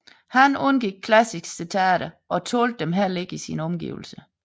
Han undgik klassiske citater og tålte dem heller ikke i sine omgivelser